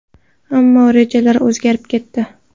Ammo rejalar o‘zgarib ketdi.